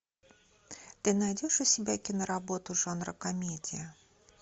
ты найдешь у себя киноработу жанра комедия